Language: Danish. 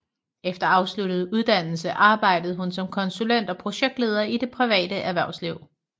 Efter afsluttet uddannelse arbejdede hun som konsulent og projektleder i det private erhvervsliv